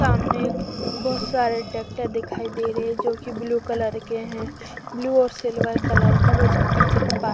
सामने एक बहुत सारे ट्रैक्टर दिखाई दे रहे हैं जो कि ब्लू कलर के हैं ब्लू और सिल्वर कलर का उसके पीछे का पार्ट --